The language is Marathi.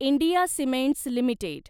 India cements limited